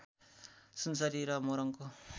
सुनसरी र मोरङको